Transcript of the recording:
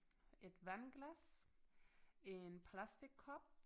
Et vandglas en plastickop